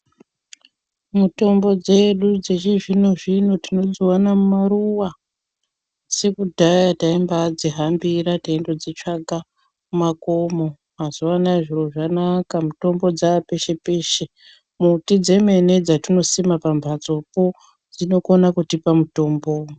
Mitombo dzedu dzechizvino-zvino tinodzivana mumaruva. Sekudhaya taimbadzihambira teindodzitsvaga mumakomo, mazuva anaya zviro zvanaka mutombo dzapeshe-peshe. Muti dzemene dzatinosima pambatsopo dzinokona kutipa mutombo.